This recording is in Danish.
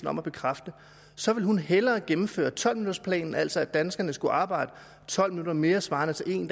om at bekræfte så ville hun hellere gennemføre tolv minuttersplanen altså at danskerne skulle arbejde tolv minutter mere svarende til en